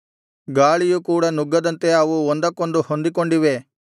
ಗಾಳಿಯು ಕೂಡ ನುಗ್ಗದಂತೆ ಅವು ಒಂದಕ್ಕೊಂದು ಹೊಂದಿಕೊಂಡಿವೆ